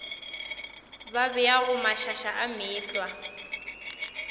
ba beago mašaša a meetlwa